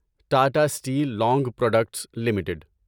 Tata Steel Long Products limited